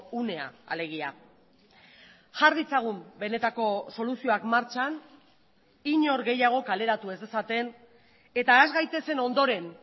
unea alegia jar ditzagun benetako soluzioak martxan inor gehiago kaleratu ez dezaten eta has gaitezen ondoren